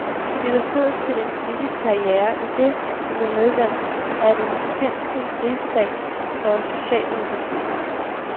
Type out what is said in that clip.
Det gav stødet til en politisk karriere, idet han blev medlem af den finske rigsdag for socialdemokratiet.